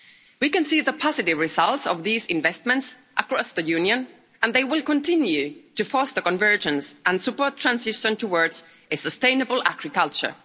We can see the positive results of these investments across the Union and they will continue to foster convergence and support transition towards a sustainable agriculture.